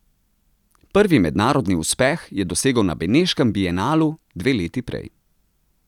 Prvi mednarodni uspeh je dosegel na beneškem bienalu dve leti prej.